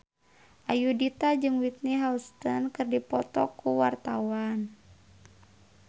Ayudhita jeung Whitney Houston keur dipoto ku wartawan